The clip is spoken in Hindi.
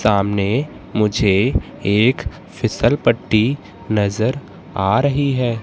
सामने मुझे एक फिसल पट्टी नजर आ रही है।